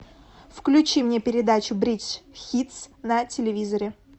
включи мне передачу бридж хитс на телевизоре